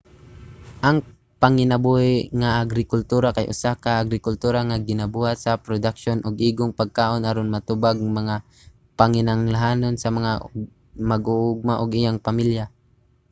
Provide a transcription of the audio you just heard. ang panginabuhi nga agrikultura kay usa ka agrikultura nga ginabuhat alang sa produksiyon og igong pagkaon aron matubag ang mga panginahanglanon lang sa mag-uuma ug iyang pamilya